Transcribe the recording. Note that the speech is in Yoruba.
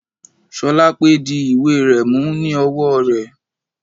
Sholape di ìwé rẹ̀ mú ní ọwọ́ rẹ̀.